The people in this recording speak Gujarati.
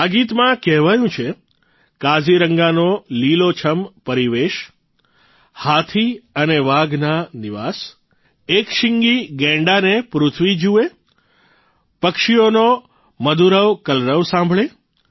આ ગીતમાં કહેવાયું છે કાઝીરંગાનો લીલોછમ પરિવેશ હાથી અને વાઘના નિવાસ એક શીંગી ગેંડાને પૃથ્વી જુએ પક્ષીઓનો મધુરવ કલરવ સાંભળે